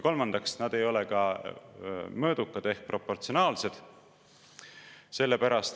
Kolmandaks, nad ei ole ka mõõdukad ehk proportsionaalsed.